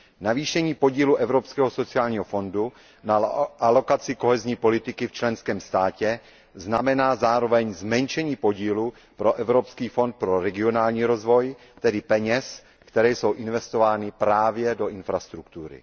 Navýšení podílu Evropského sociálního fondu na alokaci politiky soudržnosti v členském státě znamená zároveň zmenšení podílu pro Evropský fond pro regionální rozvoj, tedy peněz, které jsou investovány právě do infrastruktury.